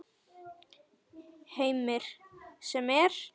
Heimir: Sem er?